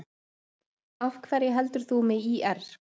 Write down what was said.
Af hverju heldur þú með ÍR?